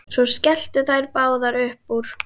Svo skelltu þær báðar upp úr.